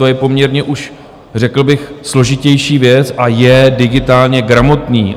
To je poměrně už řekl bych složitější věc a je digitálně gramotný.